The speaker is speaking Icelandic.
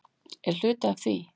Er hluti af því?